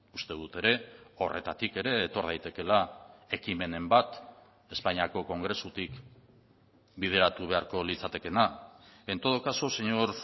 uste dut ere horretatik ere etor daitekeela ekimenen bat espainiako kongresutik bideratu beharko litzatekeena en todo caso señor